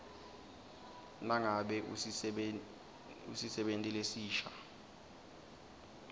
nangabe usisebenti lesisha